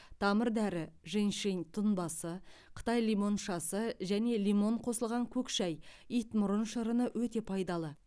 тамыр дәрі женьщень тұнбасы қытай лимоншасы және лимон қосылған көк шәй итмұрын шырыны өте пайдалы